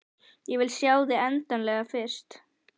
Ég vil sjá þig endanlega fyrst.